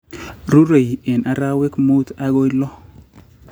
rurei eng' arawek muut agoi lo.